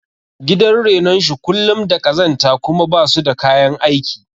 Gidan renon shi kullum da ƙazanta kuma basu da kayan aiki